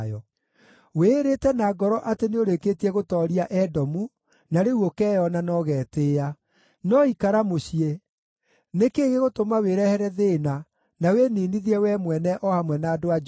Wĩĩrĩte na ngoro atĩ nĩũrĩkĩtie gũtooria Edomu, na rĩu ũkeeyona na ũgetĩĩa. No ikara mũciĩ! Nĩ kĩĩ gĩgũtũma wĩrehere thĩĩna na wĩniinithie wee mwene o hamwe na andũ a Juda?”